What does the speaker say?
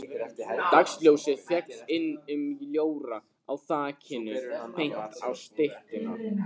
Dagsljósið féll inn um ljóra á þakinu beint á styttuna.